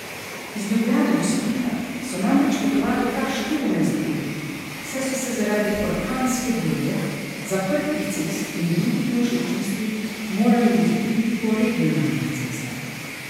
Iz Ljubljane do Splita so namreč potovali kar štirinajst ur, saj so se zaradi orkanske burje, zaprtih cest in drugih nevšečnosti morali voziti tudi po regionalnih cestah.